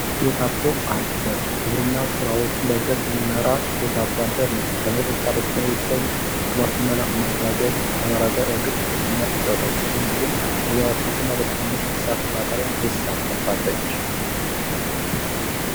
ሴት አርሶ አደር የግብርና ስራዎችን በብዛት የምትመራ ሴት አርሶ አደር ነች ከቤት ውስጥ ስራ በተጨማሪ የቤተሰብን የምግብ ዋስትናን ለማረጋገጥ ከፍተኛ ሚና ትጫወታለች፤ ብዙውን ጊዜም በጉዋሮ አትክልት እና በትናንሽ እንስሳት እርባታ ላይም ትሳተፋለች።